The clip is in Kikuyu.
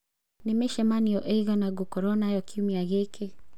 Nĩ mĩcemanio ĩigana ngũkorũo nayo kiumia gĩkĩ?